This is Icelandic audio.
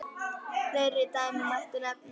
Fleiri dæmi mætti nefna.